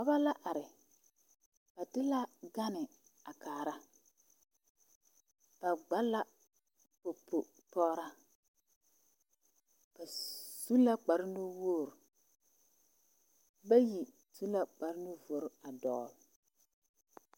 Dɔba la are ba de la gane a kaara ba gba la popo pɔgraa ba su la kparenuwogri bayi su la kparenuvori a dɔgle.